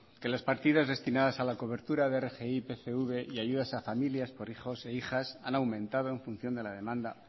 que las partidas destinadas a la cobertura de rgi pgv y ayudas a familias por hijos e hijas han aumentado en función de la demanda